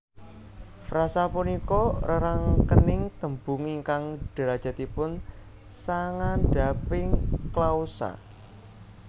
Frasa punika rerangkening tembung ingkang drajatipun sangandhaping klausa